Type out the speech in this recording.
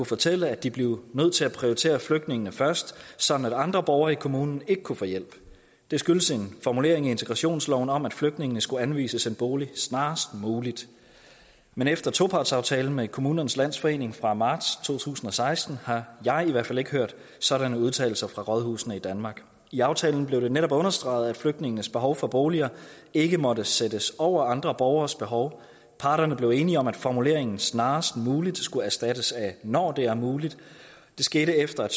fortælle at de blev nødt til at prioritere flygtningene først sådan at andre borgere i kommunen ikke kunne få hjælp det skyldes en formulering i integrationsloven om at flygtningene skulle anvises en bolig snarest muligt men efter topartsaftalen med kommunernes landsforening fra marts to tusind og seksten har jeg i hvert fald ikke hørt sådanne udtalelser fra rådhusene i danmark i aftalen blev det netop understreget at flygtningenes behov for boliger ikke måtte sættes over andre borgeres behov parterne blev enige om at formuleringen snarest muligt skulle erstattes af når det er muligt det skete efter at